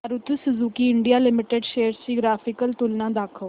Maruti Suzuki India limited shares ची graphical तुलना दाखव